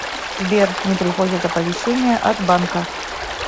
сбер не приходят оповещения от банка